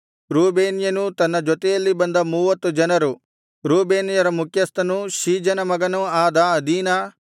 ರೂಬೇನ್ಯನೂ ತನ್ನ ಜೊತೆಯಲ್ಲಿ ಬಂದ ಮೂವತ್ತು ಜನರು ರೂಬೇನ್ಯರ ಮುಖ್ಯಸ್ಥನೂ ಶೀಜನ ಮಗನೂ ಆದ ಅದೀನ